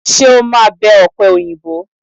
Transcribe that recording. Ṣé o máa bẹ ọ̀pẹòyìnbó?